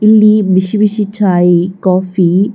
ಇಲ್ಲಿ ಬಿಸಿ ಬಿಸಿ ಚಾಯಿ ಕಾಫಿ .